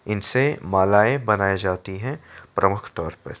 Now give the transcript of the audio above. इनसे मालाएं बनाई जाती हैं प्रमुख तौर पे।